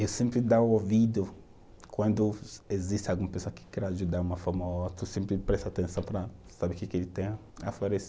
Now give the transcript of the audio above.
Eu sempre dou ouvido quando existe alguma pessoa que quer ajudar de uma forma ou outra, eu sempre presto atenção para saber o que que ele tem a a oferecer.